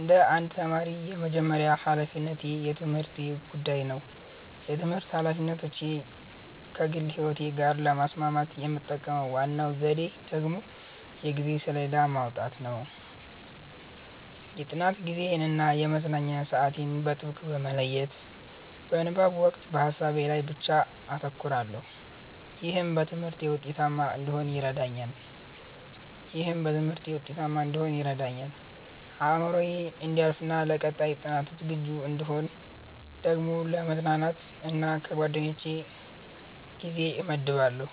እንደ አንድ ተማሪ፣ የመጀመሪያው ሀላፊነቴ የትምህርቴ ጉዳይ ነው። የትምህርት ኃላፊነቶቼን ከግል ሕይወቴ ጋር ለማስማማት የምጠቀመው ዋናው ዘዴ ደግሞ የጊዜ ሰሌዳ ማውጣት ነው። የጥናት ጊዜዬን እና የመዝናኛ ሰዓቴን በጥብቅ በመለየት፣ በንባብ ወቅት በሀሳቤ ላይ ብቻ አተኩራለሁ። ይህም በትምህርቴ ውጤታማ እንድሆን ይረዳኛል። አእምሮዬ እንዲያርፍና ለቀጣይ ጥናት ዝግጁ እንድሆን ደግሞ ለመዝናናት እና ለጓደኞቼ ጊዜ እመድባለሁ።